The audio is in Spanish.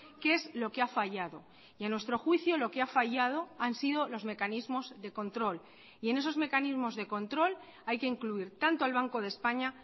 qué es lo que ha fallado y a nuestro juicio lo que ha fallado han sido los mecanismos de control y en esos mecanismos de control hay que incluir tanto al banco de españa